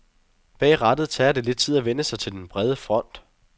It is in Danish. Bag rattet tager det lidt tid at vænne sig til den brede front.